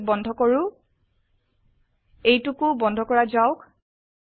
এইটোক বন্ধ কৰো এইটোকোও বন্ধ কৰা যাওক